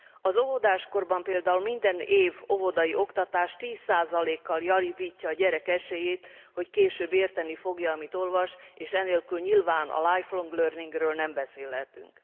Az óvodáskorban például minden év óvodai oktatás 10 kal javítja a gyerek esélyét, hogy később érteni fogja, amit olvas, és enélkül nyilván a lifelong learningről nem beszélhetünk.